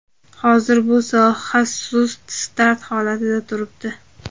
Hozir bu soha sust start holatida turibdi.